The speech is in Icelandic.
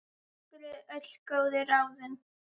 Takk fyrir öll góðu ráðin.